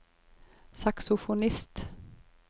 saksofonist